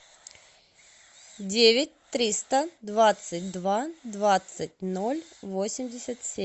девять триста двадцать два двадцать ноль восемьдесят семь